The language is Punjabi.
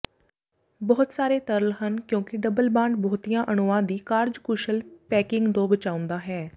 ਬਹੁਤ ਸਾਰੇ ਤਰਲ ਹਨ ਕਿਉਂਕਿ ਡਬਲ ਬਾਂਡ ਬਹੁਤੀਆਂ ਅਣੂਆਂ ਦੀ ਕਾਰਜਕੁਸ਼ਲ ਪੈਕਿੰਗ ਤੋਂ ਬਚਾਉਂਦਾ ਹੈ